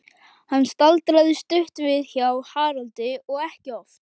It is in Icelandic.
Hann staldraði stutt við hjá Haraldi og ekki oft.